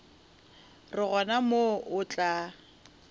ra gona moo o tla